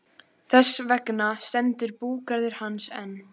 Þess vegna stendur búgarður hans enn.